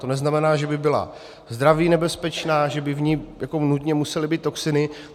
To neznamená, že by byla zdraví nebezpečná, že by v ní nutně musely být toxiny.